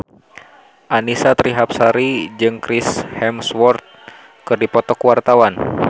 Annisa Trihapsari jeung Chris Hemsworth keur dipoto ku wartawan